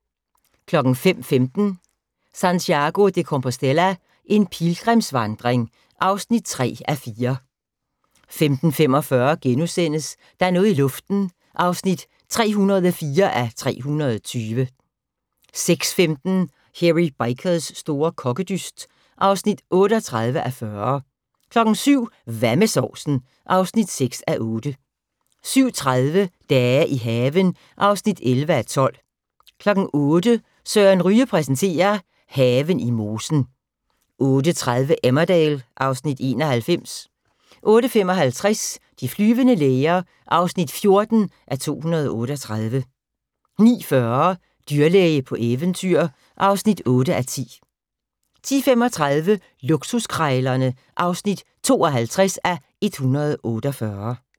05:15: Santiago de Compostela – en pilgrimsvandring (3:4) 05:45: Der er noget i luften (304:320)* 06:15: Hairy Bikers store kokkedyst (38:40) 07:00: Hvad med sovsen? (6:8) 07:30: Dage i haven (11:12) 08:00: Søren Ryge præsenterer: Haven i mosen 08:30: Emmerdale (Afs. 91) 08:55: De flyvende læger (14:238) 09:40: Dyrlæge på eventyr (8:10) 10:35: Luksuskrejlerne (52:148)